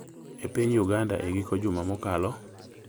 e piny Uganda e giko juma mokalo.